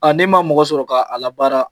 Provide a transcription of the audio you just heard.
Aa n'i ma mɔgɔ sɔrɔ ka a la baara